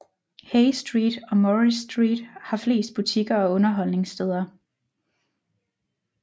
Hay Street og Murray Street har flest butikker og underholdningssteder